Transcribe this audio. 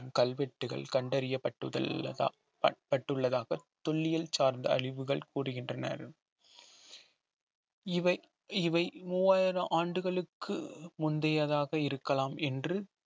கல்வெட்டுகள் கண்டறியப்பட்டு உள்ளதா பட்~ பட்டுள்ளதாக தொல்லியல் சார்ந்த அழிவுகள் கூறுகின்றனர் இவை இவை மூவாயிரம் ஆண்டுகளுக்கு முந்தையதாக இருக்கலாம் என்று